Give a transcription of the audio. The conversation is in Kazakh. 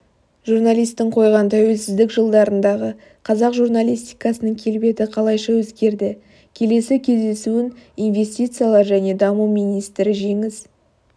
журналистің қойған тәуелсіздік жылдарындағы қазақ журналистикасының келбеті қалайша өзгерді келесі кездесуін инвестициялар және даму министрі жеңіс